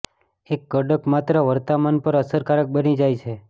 એક કડક માત્ર વર્તમાન પર અસરકારક બની જાય છે